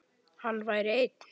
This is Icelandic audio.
Hann væri einn.